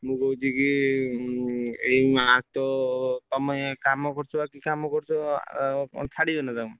ମୁଁ କହୁଛି କି ଏଇ ମା ତ ତମେ ଇଏ କାମ କରୁଛ ଆଉ କି କାମ କରୁଛ ଛାଡ଼ିବେ ନା ତମକୁ?